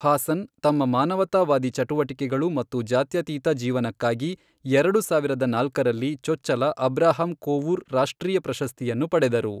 ಹಾಸನ್ ತಮ್ಮ ಮಾನವತಾವಾದಿ ಚಟುವಟಿಕೆಗಳು ಮತ್ತು ಜಾತ್ಯತೀತ ಜೀವನಕ್ಕಾಗಿ ಎರಡು ಸಾವಿರದ ನಾಲ್ಕರಲ್ಲಿ ಚೊಚ್ಚಲ ಅಬ್ರಹಾಂ ಕೋವೂರ್ ರಾಷ್ಟ್ರೀಯ ಪ್ರಶಸ್ತಿಯನ್ನು ಪಡೆದರು.